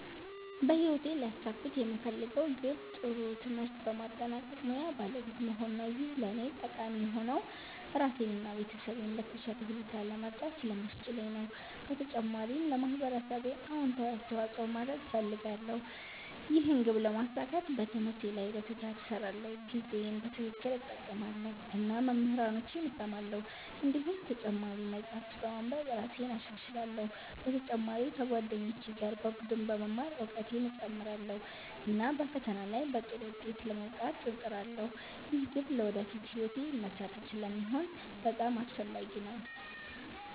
በህይወቴ ሊያሳኩት የምፈልገው ግብ ጥሩ ትምህርት በማጠናቀቅ ሙያ ባለቤት መሆን ነው። ይህ ለእኔ ጠቃሚ የሆነው ራሴን እና ቤተሰቤን በተሻለ ሁኔታ ለመርዳት ስለሚያስችለኝ ነው። በተጨማሪም ለማህበረሰቤ አዎንታዊ አስተዋፅኦ ማድረግ እፈልጋለሁ። ይህን ግብ ለማሳካት በትምህርቴ ላይ በትጋት እሰራለሁ፣ ጊዜዬን በትክክል እጠቀማለሁ እና መምህራኖቼን እሰማለሁ። እንዲሁም ተጨማሪ መጻሕፍት በማንበብ እራሴን እሻሻላለሁ። በተጨማሪ ከጓደኞቼ ጋር በቡድን በመማር እውቀቴን እጨምራለሁ፣ እና በፈተና ላይ በጥሩ ውጤት ለመውጣት እጥራለሁ። ይህ ግብ ለወደፊት ሕይወቴ መሠረት ስለሚሆን በጣም አስፈላጊ ነው።